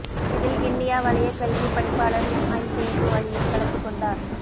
இதில் கிண்ணியா வலயக் கல்விப் பணிப்பாளர் எம் ஐ சேகு அலியும் கலந்து கொண்டார்